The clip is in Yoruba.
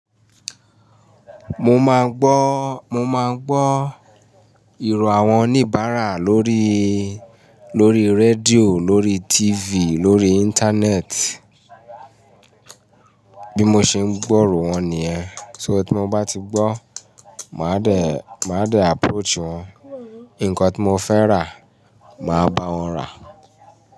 Mo máa ń gbọ́, mo máa ń gbọ́ irọ àwọn oníbàárà lórí rédíò, lórí TV, lórí Íńtánẹ́ẹ̀tì. Bí mo ṣe ń gbọ́ ìró wọn nìyẹn. So tí mo bá ti gbọ́, màá dè, màá dè approach wọn. Ǹkan tí mo fẹ́ rà, màá bá wọn rà.